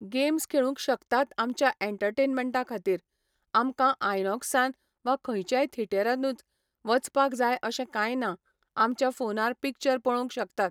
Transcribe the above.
games खेळुंक शकतात आमच्या एन्टर्टेन्मन्टा खातीर आमकां आयनोक्सान वा खंयच्याय थिएटरानुच वचपाक जाय अशें काय ना आमच्या फोनार पिक्चर पळोवंक शकतात